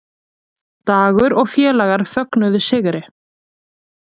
Dagur og félagar fögnuðu sigri